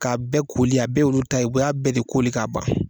K'a bɛɛ koli a bɛɛ y'olu ta ye u y'a bɛɛ de koli k'a ban.